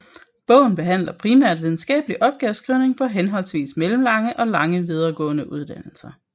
Bogen behandler primært videnskabelig opgaveskrivning på henholdsvis mellemlange og lange videregående uddannelser